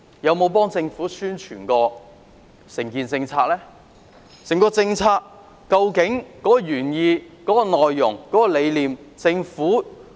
究竟政府可以用甚麼渠道解釋整項政策的原意、內容和理念？